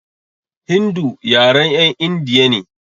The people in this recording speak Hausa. Hindu yaren 'yan indiya ne.